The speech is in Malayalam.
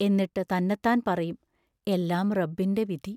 എന്നിട്ടു തന്നത്താൻ പറയും: എല്ലാം റബ്ബിൻ്റെ വിധി